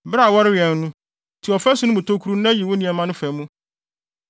Bere a wɔrewɛn no, tu ɔfasu no mu tokuru na yi wo nneɛma no fa mu.